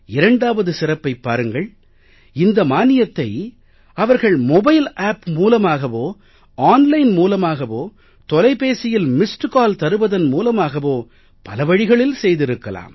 இரண்டாவது சிறப்பைப் பாருங்கள் இந்த மானியத்தை அவர்கள் மொபைல் ஆப் மூலமாகவோ ஆன்லைன் மூலமாகவோ தொலைபேசியில் மிஸ்ட் கால் தருவதன் மூலமாகவோ பல வழிகளில் செய்திருக்கலாம்